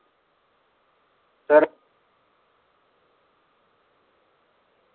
तर